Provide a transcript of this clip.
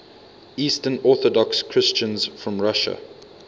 eastern orthodox christians from russia